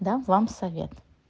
дам вам совет